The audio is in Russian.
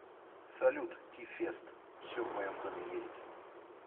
салют ти фест все в моем доме есть